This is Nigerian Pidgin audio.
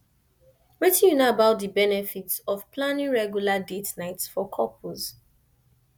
wetin you know about about di benefits of planning regular date nights for couples